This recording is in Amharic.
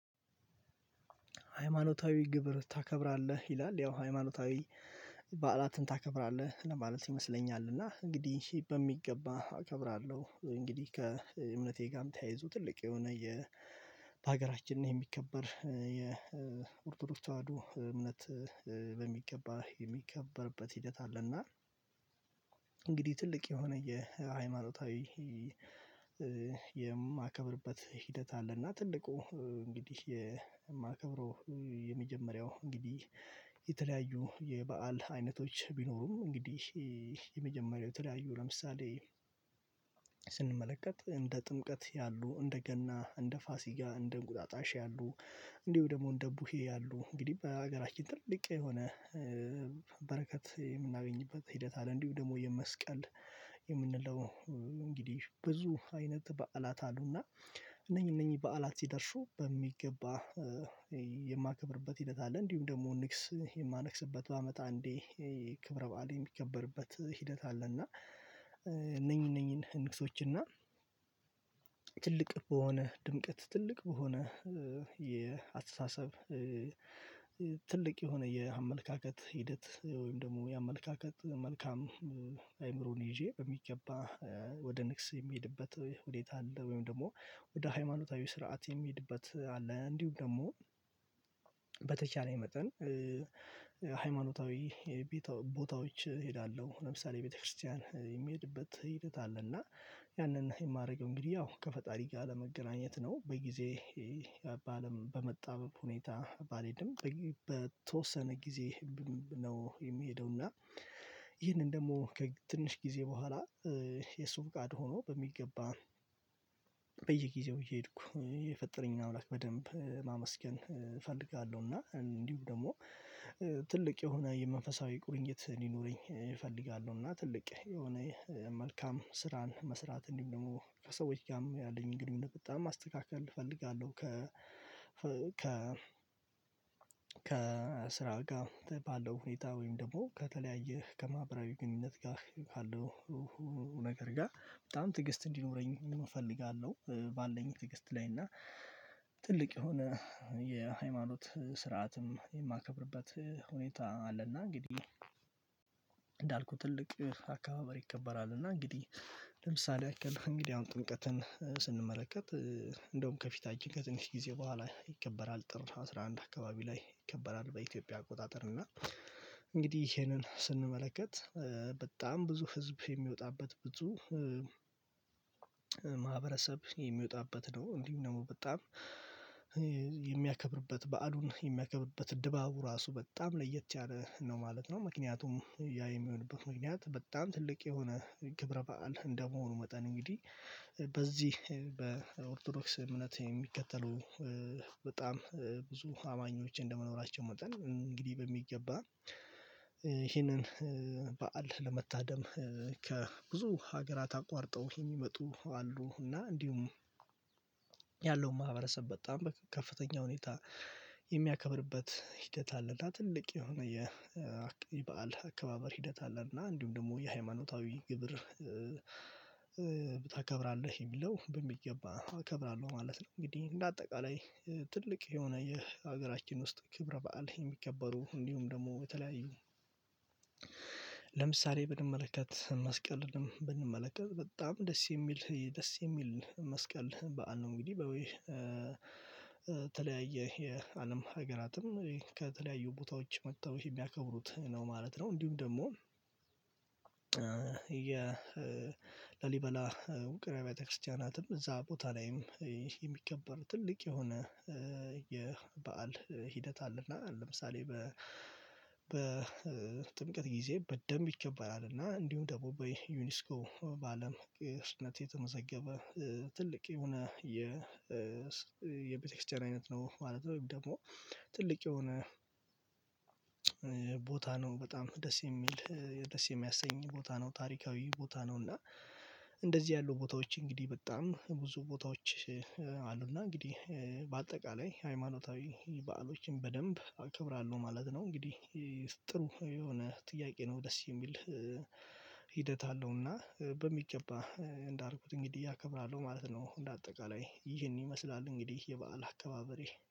ሃይማኖታዊ ግብር ታከብራለህ ይላል ያው ሃይማኖታዊ በዓላትን ታከብራለህ ለማለት ይመስለኛል? እና እንግዲህ በሚገባ አከብራለሁ እንግዲህ ከእምነቴ ጋርም ተያይዞ ትልቅ የሆነ የ በሀገራችን የሚከበር የኦርቶዶክስ ተዋህዶ እምነት በሚገባ የሚከበርበት ሂደት አለና። እንግዲህ ትልቅ የሆነ የሃይማኖታዊ የማከብርበት ሂደት አለና ትልቁ እንግዲህ የማከብረው የመጀመሪያው እንግዲህ የተለያዩ የበአል አይነቶች ቢኖሩም እንግዲህ ይሄ የመጀመሪያው ተለያዩ ለምሳሌ ስንመለከት እንደ ጥምቀት ያሉ እንደ ገና እንደ ፋሲካ እንደ እንቁጣጣሽ ያሉ እንዲሁ ደግሞ እንደ ቡሄ ያሉ እንግዲህ በሀገራችን ትልቅ የሆነ በረከት የምናገኝበት ሂደት አለ። እንዲሁ ደግሞ የመስቀል የምንለው እንግዲህ ብዙ አይነት በዓላት አሉና እነኚህ እነኚህ በዓላት ሲደርሱ በሚገባ የማከብርበት ሂደት አለ። እንዲሁም ደግሞ ንግስ የማነግስበት በአመት አንዴ ክብረ በዓል የሚከበርበት ሂደት አለና። እነኚህ እነኚህ ንግሶችና ትልቅ በሆነ ድምቀት ትልቅ በሆነ የአስተሳሰብ ትልቅ የሆነ የአመለካከት ሂደት ወይም ደግሞ የአመለካከት መልካም አይምሮን ይዤ በሚገባ ወደ ንግስ የሚሄድበት ሁኔታ አለ። ወይም ደግሞ ወደ ሃይማኖታዊ ስርዓት የሚሄድበት አለ። እንዲሁም ደግሞ በተቻለኝ መጠን ሃይማኖታዊ ቤታዎች ቦታዎች እሄዳለሁ ለምሳሌ ቤተክርስቲያን የሚሄድበት ሂደት አለ እና ያንን የማደርገው እንግዲህ ያው ከፈጣሪ ጋር ለመገናኘት ነው። በጊዜ በአለም በመጣበብ ሁኔታ ባልሄድም በተወሰነ ጊዜ ነው የሚሄደው እና ይህንን ደግሞ ከግ ትንሽ ጊዜ በኋላ የሱ ፈቃድ ሆኖ በሚገባ በየጊዜው እየሄድኩ የፈጠረኝን አምላክ በደንብ ማመስገን እፈልጋለሁ። እና እንዲሁ ደግሞ ትልቅ የሆነ የመንፈሳዊ ቁርኝት ሊኖረኝ እፈልጋለሁ እና ትልቅ የሆነ መልካም ስራን መስራት እንዲሁም ደግሞ ከሰዎች ጋርም ያለኝን ግንኙነት በጣም ማስተካከል እፈልጋለሁ። ከ ፍ ከ ከ ስራ ጋር ባለው ሁኔታ ወይም ደግሞ ከተለያየ ከማህበራዊ ግንኙነት ጋር ካለው ነገር ጋር በጣም ትዕግስት እንዲኖረኝ እፈልጋለሁ። ባለኝ ትዕግስት ላይ እና ትልቅ የሆነ የሃይማኖት ስርዓትም የማከብርበት ሁኔታ አለና እንግዲህ እንዳልኩት ትልቅ አካባቢ ይከበራል። እና እንግዲህ ለምሳሌ ያክል እንግዲህ አሁን ጥምቀትን ስንመለከት ከፊታችን ከትንሽ ጊዜ በኋላ ይከበራል ጥር አስራ አንድ አካባቢ ላይ ይከበራል በኢትዮጵያ አቆጣጠር እና እንግዲህ ይሄንን ስንመለከት በጣም ብዙ ህዝብ የሚወጣበት ብዙ ማህበረሰብ የሚወጣበት ነው እንዲሁ ደግሞ በጣም የሚያከብሩበት በዓሉን የሚያከብሩበት ድባቡ ራሱ በጣም ለየት ያለ ነው ማለት ነው። ምክንያቱም ያ የሚሆንበት ምክንያት በጣም ትልቅ የሆነ ክብረ በዓል እንደመሆኑ መጠን እንግዲህ በዚህ በኦርቶዶክስ እምነት የሚከተሉ በጣም ብዙ አማኞች እንደመኖራቸው መጠን እንግዲህ በሚገባ ይህንን በዓል ለመታደም ከብዙ ሀገራት አቋርጠው የሚመጡ አሉ። እና እንዲሁም ያለውን ማህበረሰብ በጣም ከፍተኛ ሁኔታ የሚያከብርበት ሂደት አለና ትልቅ የሆነ የ አክ የበአል አካባበር ሂደት አለና እንዲሁም ደግሞ የሃይማኖታዊ ግብር ታከብራለህ የሚለው በሚገባ አከብራለሁ ማለት ነው። እንግዲህ እንደ አጠቃላይ ትልቅ የሆነ የሀገራችን ውስጥ ክብረ በዓል የሚከበሩ እንዲሁም ደግሞ በተለያዩ ለምሳሌ ብንመለከት መስቀልንም ብንመለከት በጣም ደስ የሚል ደስ የሚል መስቀል በዓል ነው። እንግዲህ በወይ ተለያየ የአለም ሀገራትም ከተለያዩ ቦታዎች መጥተው የሚያከብሩት ነው ማለት ነው። እንዲሁም ደግሞ የ ላሊበላ ውቅር አብያተክርስቲያናትም እዛ ቦታ ላይም የሚከበር ትልቅ የሆነ የበአል ሂደት አለ። እና ለምሳሌ በ በጥምቀት ጊዜ በደንብ ይከበራል እና እንዲሁም ደግሞ በዩኒስኮ በአለም ቅርስነት የተመዘገበ ትልቅ የሆነ የ የቤተክርስቲያን አይነት ነው ማለት ነው። ወይም ደግሞ ትልቅ የሆነ ቦታ ነው በጣም ደስ የሚል ደስ የሚያሰኝ ቦታ ነው ታሪካዊ ቦታ ነው። እና እንደዚህ ያሉ ቦታዎች እንግዲህ በጣም ብዙ ቦታዎች አሉና እንግዲህ በአጠቃላይ ሃይማኖታዊ በዓሎችን በደንብ አከብራለሁ ማለት ነው። እንግዲህ ጥሩ የሆነ ጥያቄ ነው ደስ የሚል ሂደት አለውና በሚገባ እንዳልኩት እንግዲህ አከብራለሁ ማለት ነው። እንደ አጠቃላይ ይህን ይመስላል እንግዲህ የበአል አከባበሬ